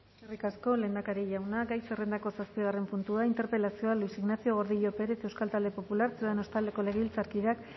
eskerrik asko lehendakari jauna gai zerrendako zazpigarren puntua interpelazioa luis ignacio gordillo pérez euskal talde popularra ciudadanos taldeko legebiltzarkideak